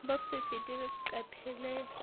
bo se fete leqephe le